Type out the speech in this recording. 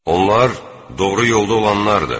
Onlar doğru yolda olanlardır.